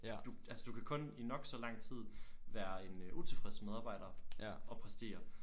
Du altså du kan kun i nok så lang tid være en utilfreds medarbejder og præstere